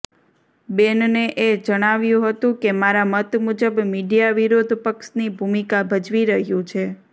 બેનનને જણાવ્યું હતું કે મારા મત મુજબ મીડિયા વિરોધ પક્ષની ભૂમિકા ભજવી રહ્યું છે